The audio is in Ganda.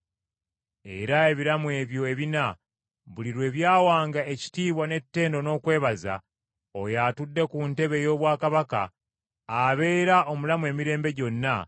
Era ebiramu ebyo ebina, buli lwe byawanga ekitiibwa n’ettendo n’okwebaza, Oyo atudde ku ntebe ey’obwakabaka, abeera omulamu emirembe gyonna,